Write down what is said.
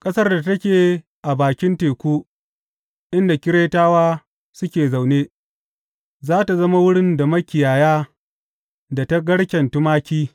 Ƙasar da take a bakin teku, inda Keretawa suke zaune, za tă zama wurin da makiyaya da ta garken tumaki.